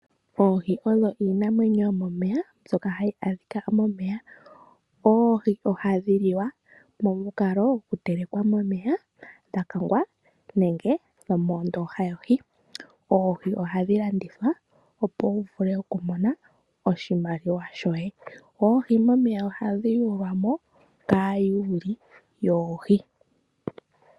Oohi odho iinamwenyo yomomeya mbyoka hayi adhika momeya. Oohi ohadhi liwa momukalo gwo kutelekwa momeya, dha kangwa nenge dhomoondoha yohi . Oohi ohadhi landithwa opo wuvule okumona oshimaliwa shoye .Oohi momeya ohadhi yulwamo kaayuli yoohi.